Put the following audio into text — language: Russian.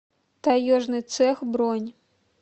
таежный цех бронь